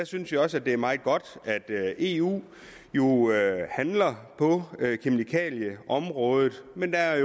synes også det er meget godt at eu handler på kemikalieområdet men der er